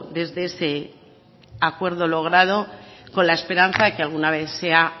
desde ese acuerdo logrado con la esperanza de que alguna vez sea